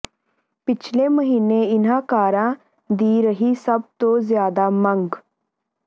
ਪਿਛਲੇ ਮਹੀਨੇ ਇਨ੍ਹਾਂ ਕਾਰਾਂ ਦੀ ਰਹੀ ਸਭ ਤੋਂ ਜ਼ਿਆਦਾ ਮੰਗ